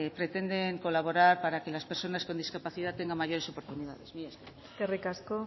pretenden colaborar para que las personas con discapacidad tengan mayores oportunidades mila esker eskerrik asko